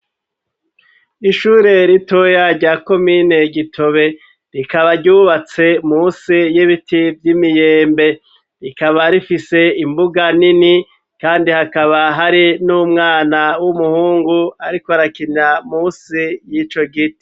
Ishure ritoya rya komine gitobe, rikaba ryubatse musi y'ibiti vy'imiyembe ,rikaba rifise imbuga nini, kandi hakaba hari n'umwana w'umuhungu ariko arakina musi y'ico giti.